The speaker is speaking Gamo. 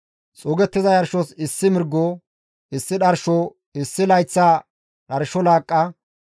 xuugettiza yarshos issi mirgo, issi dharsho, issi layththa dharsho laaqqa,